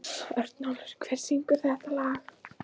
Örnólfur, hver syngur þetta lag?